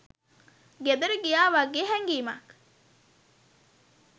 ගෙදර ගියා වගේ හැඟීමක්.